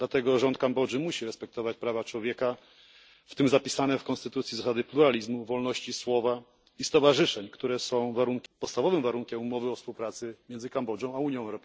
Dlatego rząd Kambodży musi respektować prawa człowieka, w tym zapisane w konstytucji zasady pluralizmu, wolności słowa i stowarzyszeń, które są podstawowym warunkiem umowy o współpracy między Kambodżą a Unią Europejską.